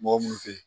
Mɔgɔ munnu be yen